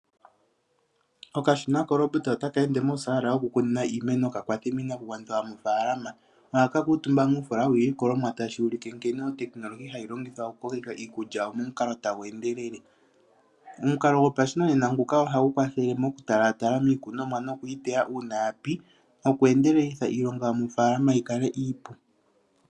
Okashina korobita otaka ende mosaala yokukuna iimeno ka kwathe miinakugwanithwa yomofaalama. Ohaka kuutumba muufoola wiilikolomwa tashi ulike nkene otekinolohi hayi longithwa momukalo gokukokeka iikulya momukalo tagu endelele. Omukalo nguka gopashinanena ohagu kwathele mokutalatala miikunomwa ngele ya pi noku endelelitha iilonga yomofalama yi kale iipu.